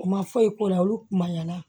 U ma foyi k'u la olu kumaɲana